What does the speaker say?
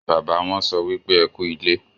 bàbà wón so wípé ẹkú ilé.